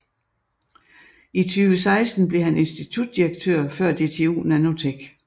I 2016 blev han insitutdirektør før DTU Nanotech